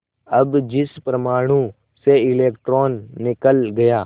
अब जिस परमाणु से इलेक्ट्रॉन निकल गए